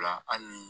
Hali ni